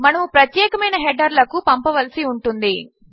మనము ప్రత్యేకమైన హెడర్ లకు పంపవలసి ఉంటుంది